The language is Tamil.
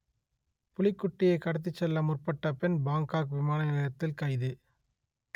புலிக்குட்டியைக் கடத்திச் செல்ல முற்பட்ட பெண் பாங்கொக் விமானநிலையத்தில் கைது